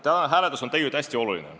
Tänane hääletus on tegelikult hästi oluline.